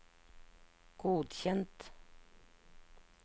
godkjent